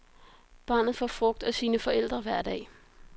Barnet får frugt af sine forældre hver dag.